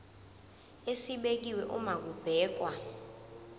esibekiwe uma kubhekwa